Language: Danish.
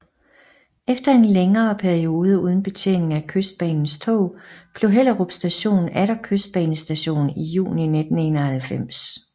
Efter en længere periode uden betjening af Kystbanens tog blev Hellerup Station atter Kystbanestation i juni 1991